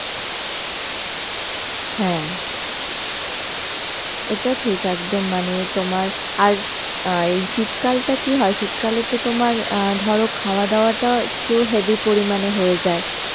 হ্যাঁ. এটা ঠিক একদম মানে তোমার আর অ্যাঁ এই শীতকালটা কি হয় শীতকালে তো তোমার অ্যাঁ ধরো খাওয়া দাওয়া টা একটু heavy পরিমাণে হয়ে যায়